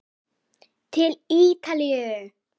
Til Ítalíu!